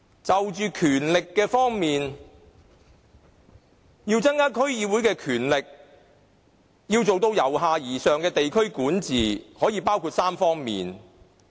在權力方面，要增加區議會的權力，做到由下而上的地區管治，涉及3方面的事宜。